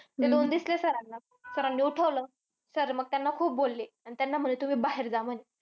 ते दोन दिसले sir ना. Sir नी उठवलं. Sir मग त्यांना खूप बोलले. आणि त्यांना म्हणले तुम्ही बाहेर जा म्हणे.